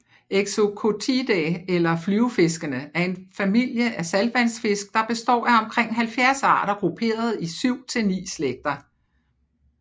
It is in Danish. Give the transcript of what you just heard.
Exocoetidae eller flyvefiskene er en familie af saltvandsfisk der består af omkring 70 arter grupperet i 7 til 9 slægter